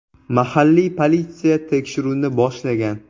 Mahalliy politsiya tekshiruvni boshlagan.